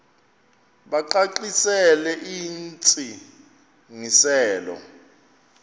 bacacisele intsi ngiselo